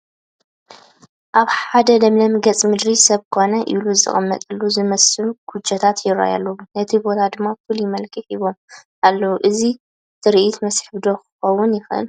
ኣብ ሓደ ለምለም ገፀ ምድሪ ሰብ ኮነ ኢሉ ዘቐመጦም ዝመስሉ ኩጀታት ይርአዩ ኣለዉ፡፡ ነቲ ቦታ ድማ ፍሉይ መልክዕ ሂቦሞ ኣለዉ፡፡ እዚ ትርኢት መስሕብ ዶ ክኸውን ይኽእል?